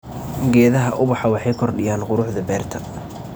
Geedaha ubaxa waxay kordhiyaan quruxda beerta.